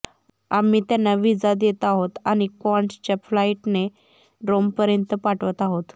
आम्ही त्यांना व्हिसा देत आहोत आणि क्वान्टासच्या फ्लाइटने रोमपर्यंत पाठवत आहोत